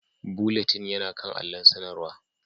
Bulletin yana kan allon sanarwa